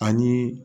Ani